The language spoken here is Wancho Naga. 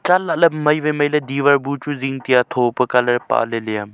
chat lahley Mai wai mailey diwar buchu taiya thopa colour pale leya.